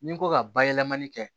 Ni n ko ka bayɛlɛmani kɛ